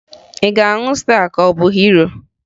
Ị ga-aṅụ Staa ka ọ bụ Hiro?